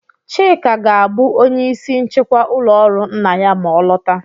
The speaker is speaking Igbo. Chika ga-abụ onye ìsì nchịkwa ụlọ ọrụ nna ya ma ọ lọta.